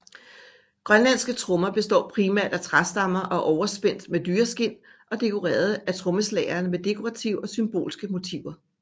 Grønlandske trommer består primært af trærammer overspændt med dyreskind og dekoreret af trommeslageren med dekorative og symbolske motiver